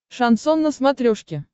шансон на смотрешке